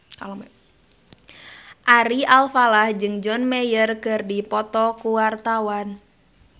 Ari Alfalah jeung John Mayer keur dipoto ku wartawan